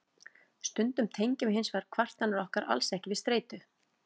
stundum tengjum við hins vegar kvartanir okkar alls ekki við streitu